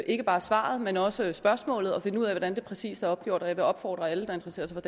ikke bare svaret men også spørgsmålet og finde ud af hvordan det præcis er opgjort og jeg vil opfordre alle der interesserer sig